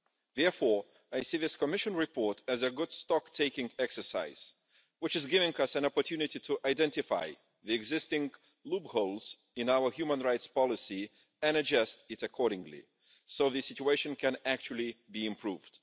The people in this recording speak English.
Therefore, I see this Commission report as a good stock taking exercise, which is giving us an opportunity to identify the existing loopholes in our human rights policy and adjust it accordingly so that the situation can actually be improved.